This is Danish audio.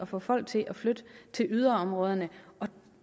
få folk til at flytte til yderområderne og